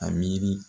A miiri